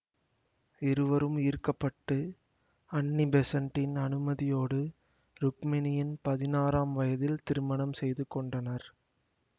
இருவரும் ஈர்க்கப்பட்டு அன்னி பெஸண்ட்டின் அனுமதியோடு ருக்மிணியின் பதினாறாம் வயதில் திருமணம் செய்து கொண்டனர்